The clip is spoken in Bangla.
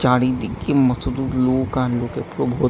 চারিদিকে মতদূর লোক আর লোকে পুরো ভত--